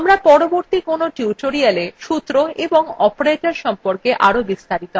আমরা পরবর্তী কোনো tutorialswe সূত্র এবং operators সম্পর্কে আরো বিস্তারিত আলোচনা করবো